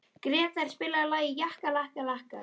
Grétar, spilaðu lagið „Jakkalakkar“.